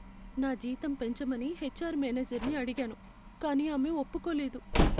నా జీతం పెంచమని హెచ్ఆర్ మేనేజర్ని అడిగాను, కానీ ఆమె ఒప్పుకోలేదు.